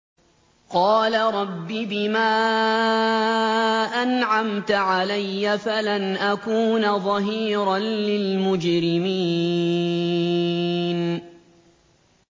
قَالَ رَبِّ بِمَا أَنْعَمْتَ عَلَيَّ فَلَنْ أَكُونَ ظَهِيرًا لِّلْمُجْرِمِينَ